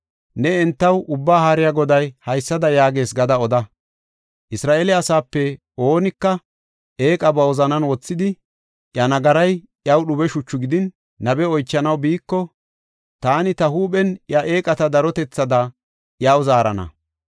Ne entaw Ubbaa Haariya Goday haysada yaagees gada oda; “Isra7eele asaape oonika eeqa ba wozanan wothidi, iya nagaray iyaw dhube shuchu gidin, nabe oychanaw biiko, taani ta huuphen iya eeqata darotethaada iyaw zaarana.